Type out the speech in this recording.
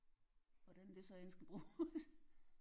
Hvordan det så end skal bruges